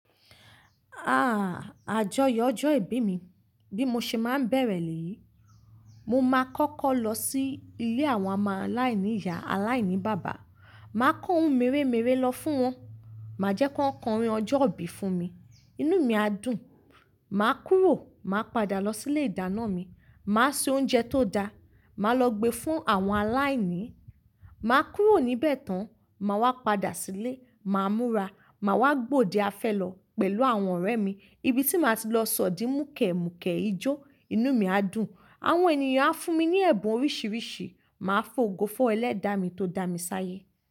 Áà Àjọyọ̀ ọjọ́ ìbí mi, bí mo ṣe máa ń bẹ̀rẹ̀ lèyí. Mo maa kọ́kọ́ lọ sí ilé àwọn ọmọ aláìníyá, aláìní bàbá. Màá kó ohun mèremère lọ fún wọn, màá jẹ́ kí wọ́n kọrin ọjọ́ ìbí fún mi. Inú mi á dùn. Màá kúrò, màá padà lọ síìlé ìdáná mi. Màá se oúnjẹ tó da, màá lọ gbe fún àwọn aláìní. Màá kúrò níbẹ̀ tán, màá wá padà sílé, màá múra. Màá wá gbòde afẹ́ lọ pẹ̀lú àwọn ọ̀rẹ́ mi ibi tí màá ti lọ sọ̀dí mùkẹ̀mùkẹ̀ ijó. Inú mi á dùn. Àwọn ènìyàn á fún mi ní ẹ̀bùn oríṣiríṣi. Màá fògo fún ẹlẹ́dàá mi tó dá mi sáyé.